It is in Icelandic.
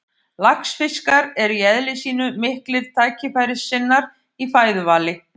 Laxfiskar eru í eðli sínu miklir tækifærissinnar í fæðuvali.